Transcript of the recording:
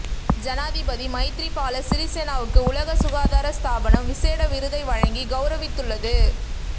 ஜனாதிபதி மைத்திரிபால சிறிசேனவுக்கு உலக சுகாதார ஸ்தாபனம் விசேட விருதை வழங்கி கௌரவித்துள்ளது